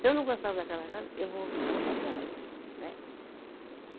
Se eu não gostava daquela casa, eu voltava para trás, né?